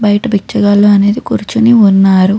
బయట బిచ్చగాళ్లు అనేది కూర్చుని ఉన్నారు.